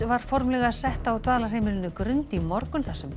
var formlega sett á dvalarheimilinu Grund í morgun þar sem